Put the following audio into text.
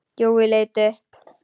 Jói leit upp.